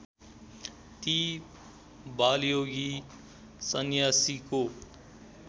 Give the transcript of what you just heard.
ती बालयोगी सन्यासीको